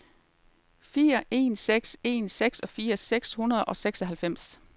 fire en seks en seksogfirs seks hundrede og seksoghalvfems